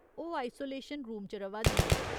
ओह् isolation room च र'वा दियां न।